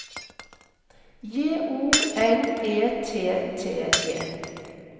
J O N E T T E